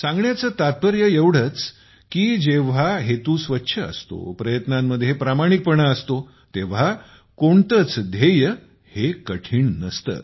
सांगण्याचे तात्पर्य एवढेच आहे की जेव्हा हेतू स्वच्छ असतो प्रयत्नांमध्ये प्रामाणिकपणा असतो तेव्हा कोणतेच ध्येय हे कठीण नसते